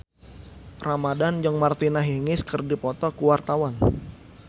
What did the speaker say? Iqbaal Dhiafakhri Ramadhan jeung Martina Hingis keur dipoto ku wartawan